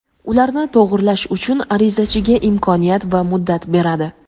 ularni to‘g‘rilash uchun arizachiga imkoniyat va muddat beradi.